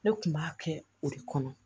Ne kun b'a kɛ o de kɔnɔ